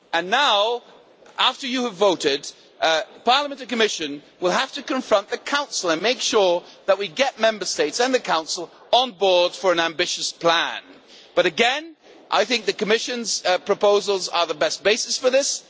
Now, after you have voted, Parliament and the Commission will have to confront the Council and make sure that we get Member States and the Council on board for an ambitious plan, but again I think that the Commission's proposals are the best basis for this.